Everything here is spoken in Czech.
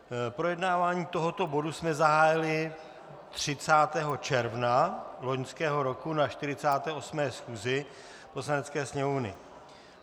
Projednávání tohoto bodu jsme zahájili 30. června loňského roku na 48. schůzi Poslanecké sněmovny.